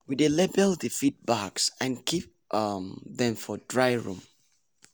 we dey label the feed bags and keep um dem for dry room.